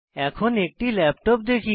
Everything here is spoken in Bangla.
এখন একটি ল্যাপটপ দেখি